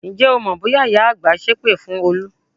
Ǹjẹ́ o mọ bóyá ìyá àgbà sépè fún Olú?